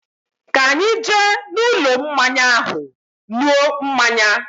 Ka anyi jee n'ulo mmanya ahu nuo mmanya